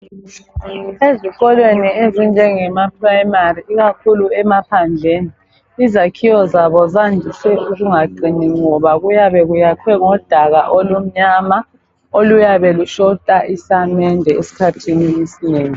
Ezikolweni ezinjengemaPrimary ikakhulu emaphandleni izakhiwo zabo zandise ukungaqini ngoba kuyabe kuyakhwe ngomdaka olumnyama okuyabe lushota isamende esikhathini esinengi.